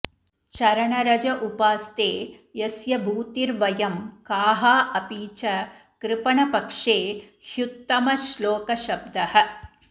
चरणरज उपास्ते यस्य भूतिर्वयं काः अपि च कृपणपक्षे ह्युत्तमश्लोकशब्दः